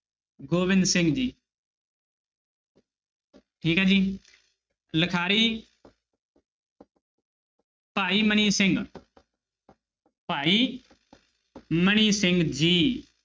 ਗੋਬਿੰਦ ਸਿੰਘ ਜੀ ਠੀਕ ਹੈ ਜੀ ਲਿਖਾਰੀ ਭਾਈ ਮਨੀ ਸਿੰਘ ਭਾਈ ਮਨੀ ਸਿੰਘ ਜੀ।